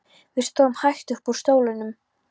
Við stóðum hægt upp úr stólunum.